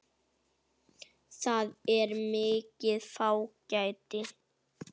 Það er mikið fágæti.